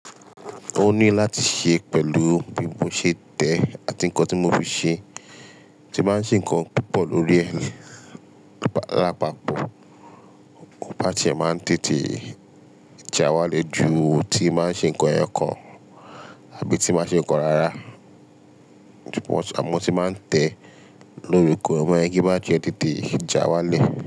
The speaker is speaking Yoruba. Ó ní láti ṣe pẹ̀lú bí mo ṣe tẹ̀ àti ǹkan tí mo fi ṣe, tí máa ṣe ǹkan púpọ̀ lórí ẹ̀, lápapọ̀ bátiri e máa ma ń tètè já wálẹ̀ ju ti n báa ṣe ǹkan eyokan àbí tí máa ṣe ǹkan rárá. Too much, àmọ́ tí n ba tẹ̀, igi batiri e tètè já wálẹ̀